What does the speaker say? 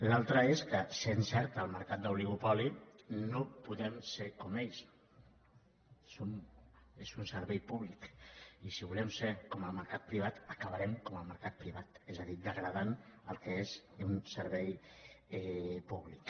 l’altre és que sent cert el mercat d’oligopoli no podem ser com ells som és un servei públic i si volem ser com el mercat privat acabarem com el mercat privat és a dir degradant el que és un servei públic